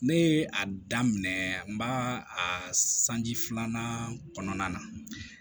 Ne a daminɛ n b'a a sanji filanan kɔnɔna na